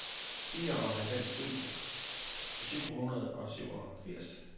fireoghalvfems tusind syv hundrede og syvogfirs